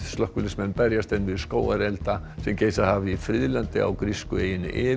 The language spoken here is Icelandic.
slökkviliðsmenn berjast enn við skógarelda sem geisað hafa í friðlandi á grísku eyjunni